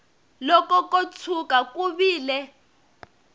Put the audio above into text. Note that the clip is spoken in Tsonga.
loko ko tshuka ku vile